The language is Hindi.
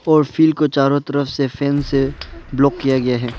और फिर को चारों तरफ से फेन्स से ब्लॉक किया गया है।